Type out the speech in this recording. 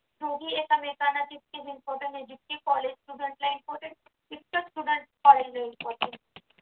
तोही एकामेकांना तितकेच important आहे ना जितके कॉलेज student ला important इतक studentcollege ला important